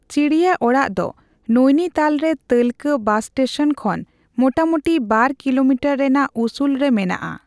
ᱪᱤᱲᱤᱭᱟᱚᱲᱟᱜ ᱫᱚ ᱱᱚᱭᱱᱤᱛᱟᱞ ᱨᱮ ᱛᱟᱹᱞᱠᱟᱹ ᱵᱟᱥ ᱥᱴᱮᱥᱚᱱ ᱠᱷᱚᱱ ᱢᱚᱴᱟᱢᱳᱴᱤ ᱵᱟᱨ ᱠᱤᱞᱳᱢᱤᱴᱟᱨ ᱨᱮᱱᱟᱜ ᱩᱥᱩᱞ ᱨᱮ ᱢᱮᱱᱟᱜᱼᱟ ᱾